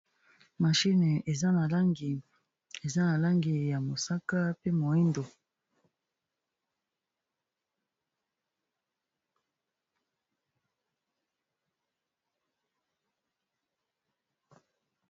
mashine eza na langi ya mosaka pe moindo